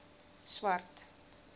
swart